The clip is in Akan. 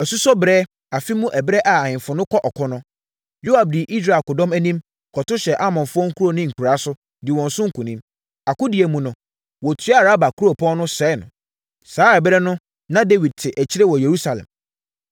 Asusɔ berɛ, afe mu ɛberɛ a ahemfo kɔ ɔko no, Yoab dii Israel akodɔm anim, kɔto hyɛɛ Amonfoɔ nkuro ne nkuraa so, dii wɔn so nkonim. Akodie no mu no, wɔtuaa Raba kuropɔn no, sɛee no. Saa ɛberɛ no, na Dawid te akyire wɔ Yerusalem.